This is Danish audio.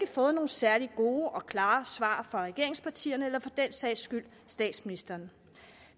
fået nogen særlig gode og klare svar fra regeringspartierne eller for den sags skyld statsministeren